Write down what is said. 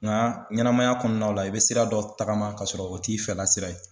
Nka ɲɛnamaya kɔnɔnaw la i bɛ sira dɔ tagama ka sɔrɔ o t'i fɛla sira ye.